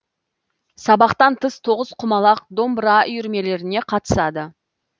сабақтан тыс тоғызқұмалақ домбыра үйірмелеріне қатысады